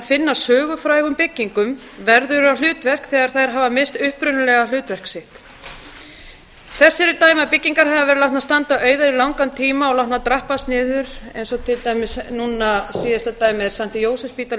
finna sögufrægum byggingum verðugt hlutverk þegar þær hafa misst upprunalegt hlutverk sitt þess eru dæmi að byggingar hafi verið látnar standa auðar í langan tíma og látnar drabbast niður eins og til dæmis núna síðasta dæmið er st jósefsspítali í